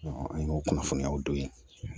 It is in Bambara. an y'o kunnafoniyaw don yen